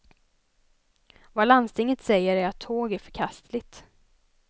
Vad landstinget säger är att tåg är förkastligt.